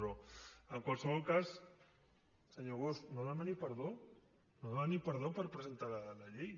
però en qualsevol cas senyor bosch no demani perdó no demani perdó per presentar la llei